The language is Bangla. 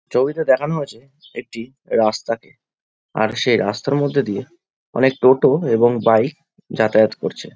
ছবিতে দেখানো হয়েছে একটি রাস্তা কে আর সেই রাস্তা মধ্যে দিয়ে অনেক টোটো এবং বাইক যাতায়াত করছে ।